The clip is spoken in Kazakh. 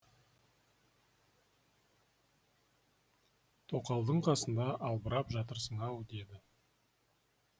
тоқалдың қасында албырап жатырсың ау деді